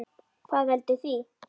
Hvað veldur því?